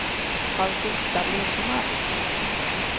Augusta Lindmark